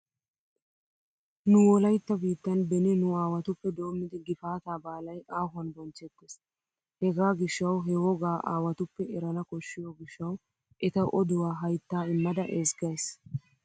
Nu wolaytta biittan beni nu aawatuppe doommidi gifaataa baalay aahuwan bonchchettees. Hegaa gishshawu he wogaa aawatuppe erana koshshiyo gishshawu eta oduwa hayttaa immada ezggays.